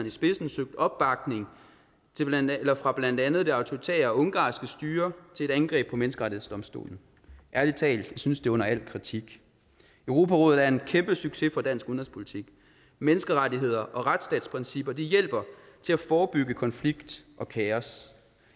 i spidsen søgt opbakning fra blandt andet det autoritære ungarske styre til et angreb på menneskerettighedsdomstolen ærlig talt jeg synes det er under al kritik europarådet er en kæmpe succes for dansk udenrigspolitik menneskerettigheder og retsstatsprincipper hjælper til at forebygge konflikt og kaos